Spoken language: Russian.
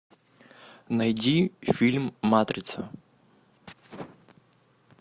найди фильм матрица